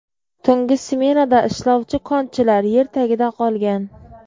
Tungi smenada ishlovchi konchilar yer tagida qolgan.